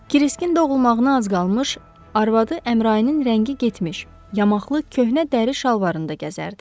Kiriskin doğulmağına az qalmış, arvadı Əmrayinin rəngi getmiş, yamaqlı köhnə dəri şalvarında gəzərdi.